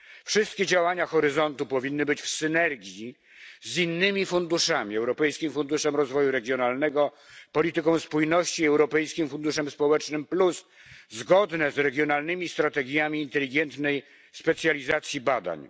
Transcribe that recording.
Wszystkie działania Horyzontu Europa powinny być w synergii z innymi funduszami Europejskim Funduszem Rozwoju Regionalnego, polityką spójności, Europejskim Funduszem Społecznym Plus zgodne z regionalnymi strategiami inteligentnej specjalizacji badań.